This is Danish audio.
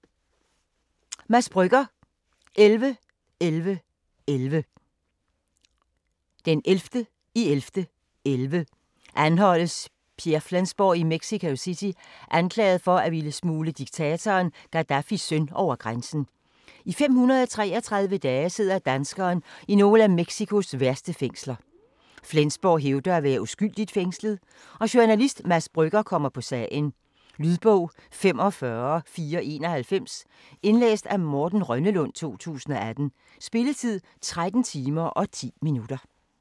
Brügger, Mads: 11.11.11 Den 11.11.11 anholdes Pierre Flensborg i Mexico City, anklaget for at ville smugle diktatoren Gaddafis søn over grænsen. I 533 dage sidder danskeren i nogle af Mexicos værste fængsler. Flensborg hævder at være uskyldigt fængslet - og journalist Mads Brügger kommer på sagen. Lydbog 45491 Indlæst af Morten Rønnelund, 2018. Spilletid: 13 timer, 10 minutter.